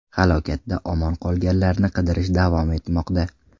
Halokatda omon qolganlarni qidirish davom etmoqda.